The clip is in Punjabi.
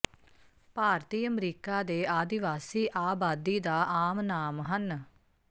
ਭਾਰਤੀ ਅਮਰੀਕਾ ਦੇ ਆਦਿਵਾਸੀ ਆਬਾਦੀ ਦਾ ਆਮ ਨਾਮ ਹਨ